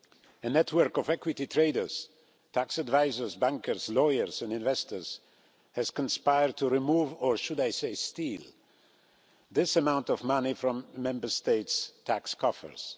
A network of equity traders, tax advisers, bankers, lawyers and investors has conspired to remove or should I say steal this amount of money from Member Statesʼ tax coffers.